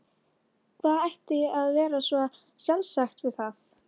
Hvað ætti að vera svo sjálfsagt við það?